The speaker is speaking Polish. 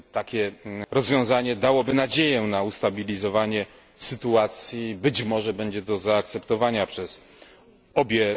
Takie rozwiązanie dałoby nadzieję na ustabilizowanie sytuacji, być może będzie to do zaakceptowania przez obie